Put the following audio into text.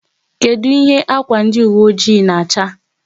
Kedụ ihe ákwà ndi uwe oji na-acha?